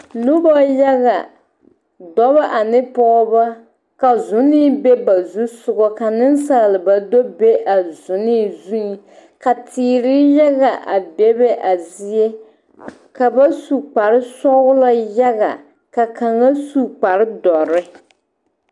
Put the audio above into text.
Noba yaga dɔba ane pɔgeba ka zonee be ba zusoga ka nensalba do be a zonee zuŋ ka teere yaga a bebe a zie ka ba su kparesɔglɔ yaga ka kaŋa su kparedɔre.